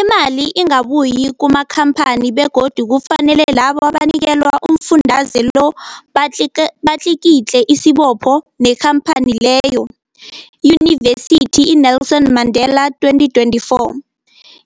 Imali ingabuyi kumakhamphani begodu kufanele labo abanikelwa umfundaze lo batliki batlikitliki isibopho neenkhamphani leyo, Yunivesity i-Nelson Mandela 2024.